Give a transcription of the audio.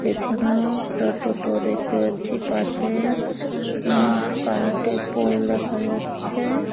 পেছনেও একটা টোটো দেখতে পাচ্ছি। পাশে আ কারেন্ট -এর পোল দেখা যাচ্ছে।